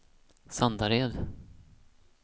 Sandared